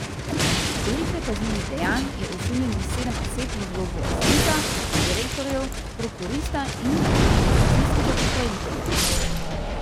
Storitve kaznivih dejanj je osumljenih sedem oseb v vlogi lastnika, direktorjev, prokurista in likvidacijskega upravitelja.